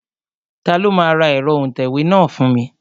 Ta ló máa ra ẹ̀rọ òǹtẹ̀wé náà fún mi?